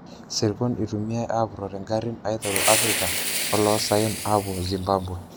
Sirkon itumiyae apurorie ngarin aiteru Afrika olosayen apuo Zimbabwe.